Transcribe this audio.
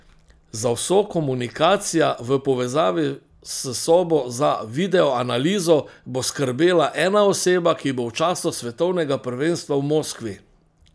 Za vso komunikacija v povezavi s sobo za videoanalizo bo skrbela ena oseba, ki bo v času svetovnega prvenstva v Moskvi.